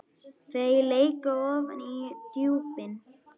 Þau leka ofan í djúpin.